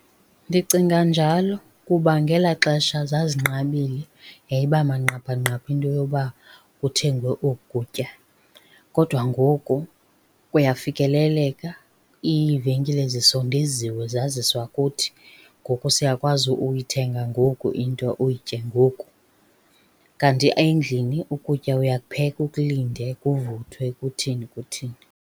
Ndicinga njalo kuba ngela xesha zazinqabile yayiba manqaphanqapha into yoba kuthengwe oku kutya, kodwa ngoku kuyafikeleleka. Iivenkile zisondeziwe zaziswa kuthi ngoku siyakwazi uyithenga ngoku into uyitye ngoku. Kanti endlini ukutya uyakupheka, ukulinde kuvuthwe kuthini kuthini.